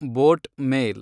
boat ಮೇಲ್